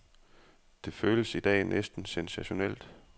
Det føles i dag næsten sensationelt.